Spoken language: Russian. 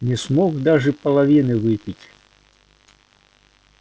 не смог даже половины выпить